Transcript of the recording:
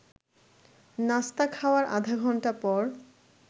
নাস্তা খাওয়ার আধা ঘণ্টা পর